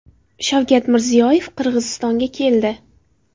Shavkat Mirziyoyev Qirg‘izistonga keldi.